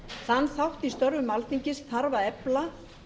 þann þátt í störfum alþingis þarf að efla